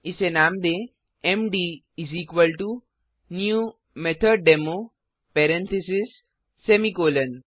इसे नाम दें मद new मेथोडेमो पेरेंथीसेस सेमीकोलों